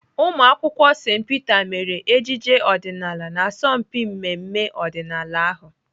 Ụmụakwụkwọ St Peter mere ejije ọdịnaala n'asọmpi mmemme ọdịnala ahụ.